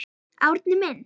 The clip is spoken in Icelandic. Árni minn.